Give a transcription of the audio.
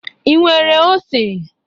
Ị nwere ose?